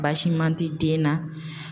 Baasi man tɛ den na